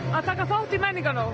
að taka þátt i menningarnótt